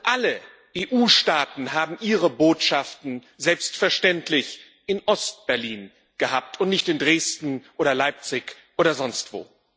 Alle EU Staaten haben ihre Botschaften selbstverständlich in Ostberlin gehabt und nicht in Dresden oder Leipzig oder sonstwo.